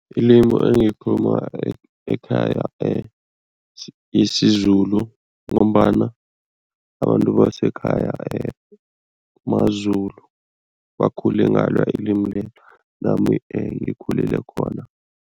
Ilimu engilikhuluma ekhaya isiZulu ngombana abantu basekhaya maZulu, bakhule ngalo ilimi lelo nami ngikhulele khona.